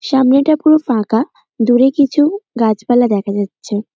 সামনেটা পুরো ফাঁকা দূরে কিছু গাছপালা দেখা যাচ্ছে।